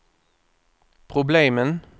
problemen